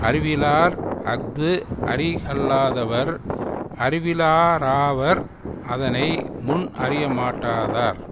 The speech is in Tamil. அறிவிலார் அஃது அறிகல்லாதவர் அறிவிலராவர் அதனை முன் அறியமாட்டாதார்